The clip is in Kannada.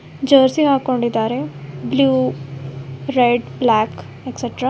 ಜರ್ಸಿ ಹಾಕ್ಕೊಂಡಿದ್ದಾರೆ ಬ್ಲೂ ರೆಡ್ ಬ್ಲಾಕ್ ಎಕ್ಸೆಟ್ರಾ .